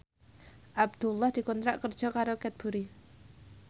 Abdullah dikontrak kerja karo Cadbury